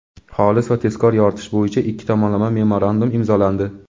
xolis va tezkor yoritish bo‘yicha ikki tomonlama memorandum imzolandi.